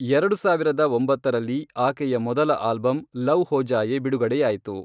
ಎರಡು ಸಾವಿರದ ಒಂಬತ್ತರಲ್ಲಿ, ಆಕೆಯ ಮೊದಲ ಆಲ್ಬಂ ಲವ್ ಹೋ ಜಾಯೇ ಬಿಡುಗಡೆಯಾಯಿತು.